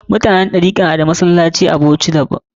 Mutanen Ɗarika a Bauchi na da masallatan su daban